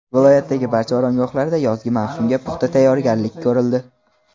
Viloyatdagi barcha oromgohlarda yozgi mavsumga puxta tayyorgarlik ko‘rildi.